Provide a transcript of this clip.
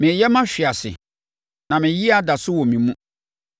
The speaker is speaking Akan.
Mereyɛ mahwe ase, na me yea da so wɔ me mu.